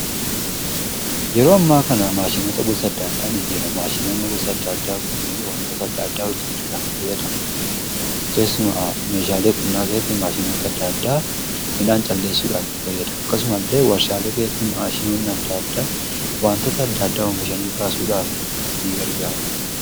Yeroo ammaa kana maashinota gosa adda addaan yeroo maashinoonni gosa adda addaa kun wantoota adda addaa hojjechuudhaaf fayyadamu. Keessumaa meeshaalee qonnnaa keessatti maashinota adda addaa midhaan calleessuudha itti fayyada. Akkasuma illee warshaalee keessatti maashinoonni adda addaa wantoota adda addaa oomishanii baasuudhaaf in gargaaru.